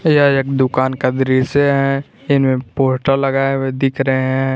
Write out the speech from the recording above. दुकान का दृश्य है जिनमें पोस्टर लगाए हुए दिख रहे हैं।